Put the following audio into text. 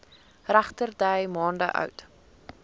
regterdy maande oud